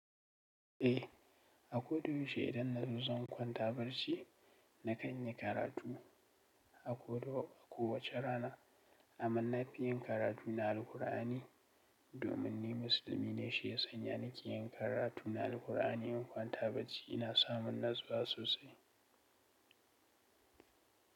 Eh, ako dayaushe idan na zo zan kwanta barci na kan yin karatu akwai a kowace rana. Amman na fi yin karatu na Alqur'ani domin ni musulmi ne shiyasa. Yana ke yin karatu na Alqur'ani in kwanta barci ina samun natsuwa sosai.